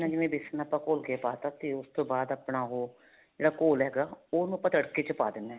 ਜਿਵੇਂ ਜਿਵੇਂ ਵੇਸਨ ਆਪਾਂ ਘੋਲ ਕੇ ਪਾਤਾ ਤੇ ਉਸ ਤੋਂ ਬਾਅਦ ਆਪਣਾ ਉਹ ਜਿਹੜਾ ਘੋਲ ਹੈਗਾ ਉਹਨੂੰ ਆਪਾਂ ਤੱੜਕੇ ਵਿੱਚ ਪਾ ਦੇਣਾ